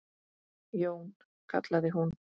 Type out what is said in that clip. Jón, kallaði hún.